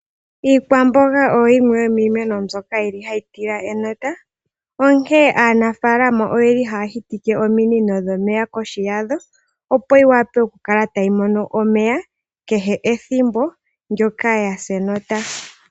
Iikwamboga oyo yimwe yomiimeno mbyono yili hayi tila enota. Onkene aanafalama oyeli haya hitike ominino dhomeya kohi yadho, opo yiwape okukala tayi mono omeya, kehe ethimbo ndyoka yasa enota.